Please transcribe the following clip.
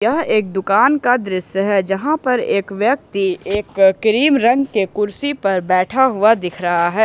यह एक दुकान का दृश्य है जहां पर एक व्यक्ति एक क्रीम रख के कुर्सी पर बैठा हुआ दिख रहा है।